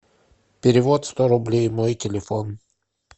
перевод сто рублей мой телефон